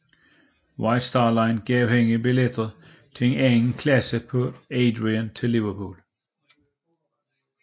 White Star Line gav hende billet til anden klasse på Adriatic til Liverpool